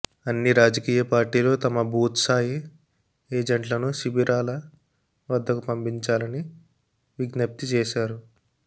అన్ని రాజకీయ పార్టీలు తమ బూత్స్థాయి ఏజెంట్లను శిబిరాల వద్దకు పంపించాలని విజ్ఞప్తి చేశా రు